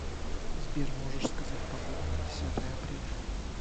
сбер можешь сказать погоду на десятое апреля